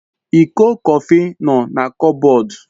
Iko Kọfị no na kupbod